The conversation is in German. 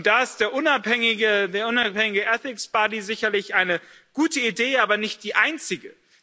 Da ist der unabhängige ethics body sicherlich eine gute Idee, aber nicht die einzige.